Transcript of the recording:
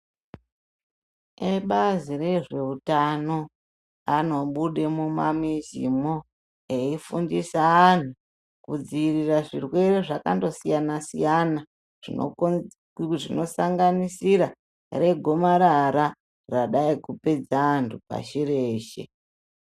Ebazi rezveutano anobude mumamizimwo eifundiswa antu kudzivirira zvirwere zvakandosiyana siyana zvinosanganisira regomarara radayi kupedza antu pashi reshe.